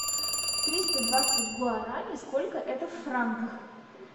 триста двадцать гуарани сколько это в франках